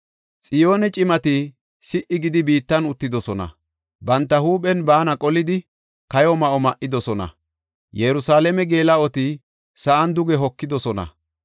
Xiyoone cimati si77i gidi biittan uttidosona; banta huuphen baana qolidi kayo ma7o ma7idosona; Yerusalaame geela7oti sa7an duge hokidosona.